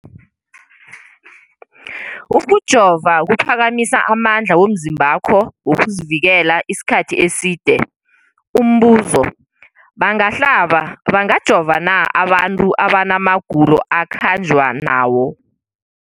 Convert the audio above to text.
Ukujova kuphakamisa amandla womzimbakho wokuzivikela isikhathi eside. Umbuzo, bangahlaba, bangajova na abantu abana magulo ekukhanjwa nawo